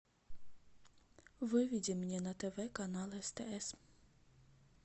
выведи мне на тв канал стс